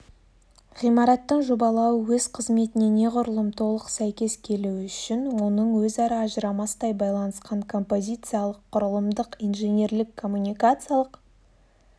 ғимараттың жобалауы өз қызметіне неғұрлым толық сәйкес келуі үшін оның өзара ажырамастай байланысқан композициялық құрылымдық инженерлік-коммуникациялық